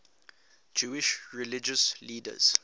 jewish religious leaders